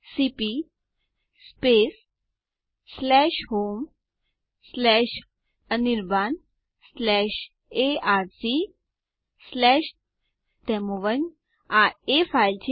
terminal પર લખેલ password દૃશ્યમાન નથી